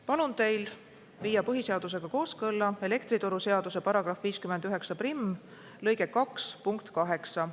Palun teil viia põhiseadusega kooskõlla elektrituruseaduse § 591 lõike 2 punkt 8.